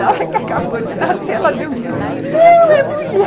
Na hora que acabou de nascer, ela deu um grito, não, é mulher!